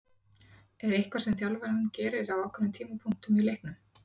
Er eitthvað sem þjálfarinn gerir á ákveðnum tímapunktum í leiknum?